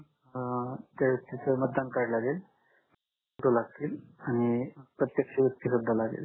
अं त्या व्यक्तिच मतदान कार्ड लागेल दोन फोटो लागतील आणि प्रतकश्या व्यक्ति सुद्धा लागेल